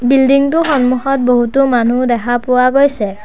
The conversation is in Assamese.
বিল্ডিং টোৰ সন্মুখত বহুতো মানুহ দেখা পোৱা গৈছে।